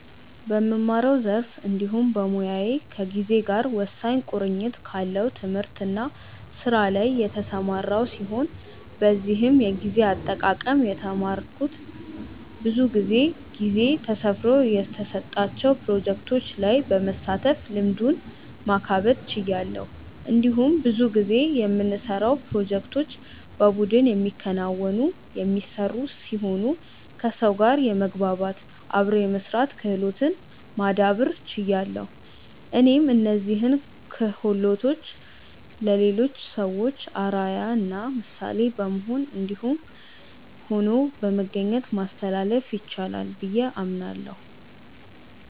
በምማረው ዘርፍ እንዲሁም በሞያዬ ከጊዜ ጋር ወሳኝ ቁርኝት ካለው ትምህርት እና ስራ ላይ የተሰማራው ሲሆን በዚህም የጊዜ አጠቃቀም የተማረኩት ብዙ ጊዜ ጊዜ ተሰፍሮ የተሰጣቸው ፕሮጀክቶች ላይ በመሳተፍ ልምዱን ማካበት ችያለሁ። እንዲሁም ብዙ ጊዜ የምንሰራውን ፕሮጀክቶች በቡድን የሚከናወኑ/የሚሰሩ ሲሆኑ ከሰው ጋር የመግባባት/አብሮ የመስራት ክህሎትን ማዳብር ችያለሁ። እኔም እነዚህን ክሆሎቶችን ለሌሎች ሰዎች አርአያ እና ምሳሌ በመሆን እንዲሁም ሆኖ በመገኘት ማስተላለፍ ይቻላል ብዬ አምናለሁ።